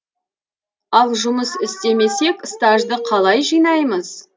ал жұмыс істемесек стажды қалай жинаймыз